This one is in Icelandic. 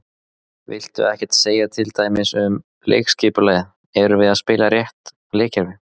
Viltu ekkert segja til dæmis um leikskipulagið, erum við að spila rétt leikkerfi?